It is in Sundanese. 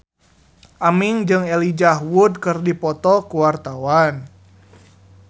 Aming jeung Elijah Wood keur dipoto ku wartawan